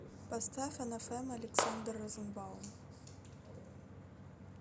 поставь анафема александр розенбаум